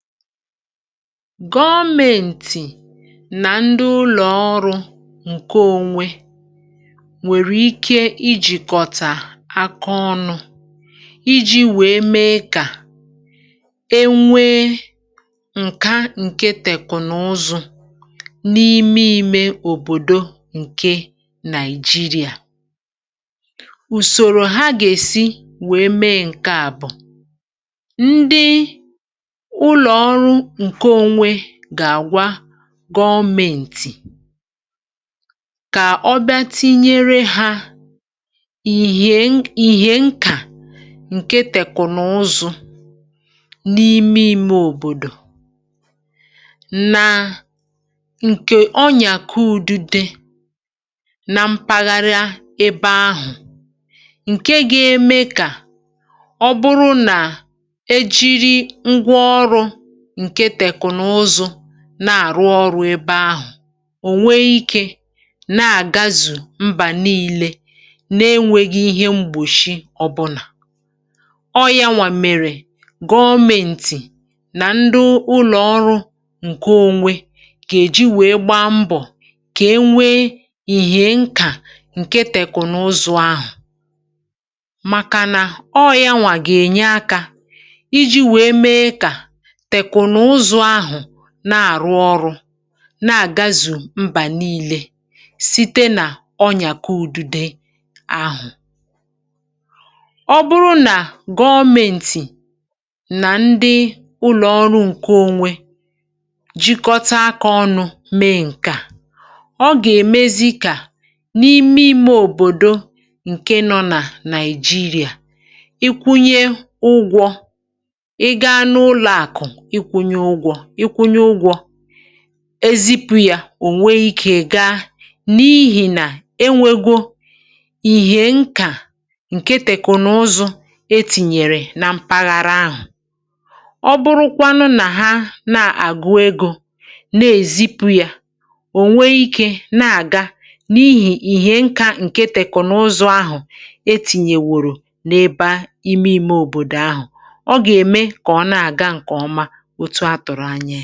Gọmėntì nà ndị ụlọ̀ọrụ ǹkè onwe nwèrè ikė ijìkọ̀tà akà ọnụ̇ iji̇ wèe mee kà e nwee ǹkà ǹkè tèkùnụzụ̀ n’ime òbòdò ǹkè Nàị̀jìrìà. Ùsòrò ha gè-èsi wèe mee ǹkè à bụ̀, gà-àgwa gọmėntì kà ọ bịà tinyere hȧ ìhè nkà ǹkè tèkùnụzụ̀ n’ime ime òbòdò, nà ǹkè ọ nyàkọ̀ udide nà mpaghara ebe ahụ̀, ǹkè gà-ème kà nà-àrụ ọrụ ebe ahụ̀ ò nwee ikė na-àgazù mbà niilè na-enwèghì̇ ihe mgbòshì ọ̀bụ̀là. um Ọ yȧnwà mèrè gọmėntì nà ndị ụlọ̀ọrụ ǹkè onwe kà èji wèe gbaa mbọ̀ kà e nwee ìhè nkà ǹkè tèkùnụzụ̀ ahụ̀, màkànà ọ yȧnwà gà-ènye àkà iji̇ wèe mee kà na-àrụ ọrụ na-àgazù mbà niilè site nà ọnyàkọ̀ udide ahụ̀. Ọ bụrụ nà gọmėntì nà ndị ụlọ̀ọrụ ǹkè onwe jikọ̀tà àkà ọnụ mee ǹkè à, ọ gà-èmezi kà n’ime ime òbòdò ǹkè nọ nà Nàị̀jìrìà, ikwụnye ụgwọ ị gà n’ụlọ̀àkụ̀, ịkwụnye ụgwọ̇ ezipu yȧ, ònwe ikė gaa n’ihì nà e nwegò ìhè nkà ǹkè tèkùnụzụ̀ etìnyèrè na mpaghara ahụ̀. Ọ bụrụkwanụ nà ha na-àgụ egȯ na-èzipu yȧ, ò nwekwà ikė na-àga n’ihì ìhè nkà ǹkè tèkùnụzụ̀ ahụ̀ etìnyèrè wùrù n’ebe ime òbòdò ahụ̀, ọ gà-ème kà ọ na-àga ǹkè ọma. Ùsù à tụ̀rụ̀ anyị.